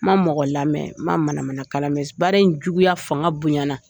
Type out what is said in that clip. Ma mɔgɔ lamɛn ma manamanakan lamɛn baara in juguya fanga bonyana